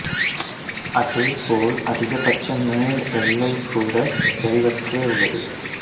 அதே போல் அதிகபட்ச மேல் எல்லை கூட தெளிவற்றே உள்ளது